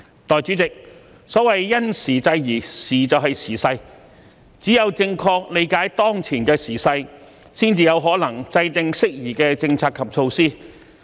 代理主席，所謂"因時制宜"，"時"就是時勢，只有正確理解當前的"時勢"，才有可能制訂適宜的政策及措施。